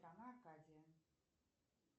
страна акадия